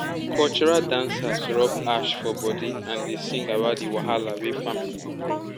cultural dancers rub ash for body and dey sing about the wahala wey farming bring.